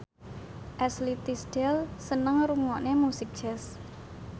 Ashley Tisdale seneng ngrungokne musik jazz